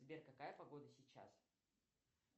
сбер какая погода сейчас